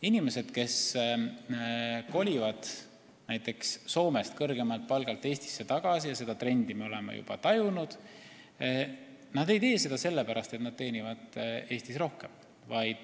Inimesed, kes kolivad näiteks Soomest kõrgemalt palgalt Eestisse tagasi – seda trendi me oleme juba tajunud –, ei tee seda sellepärast, et nad teenivad Eestis rohkem.